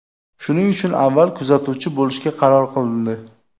Shuning uchun avval kuzatuvchi bo‘lishga qaror qilindi.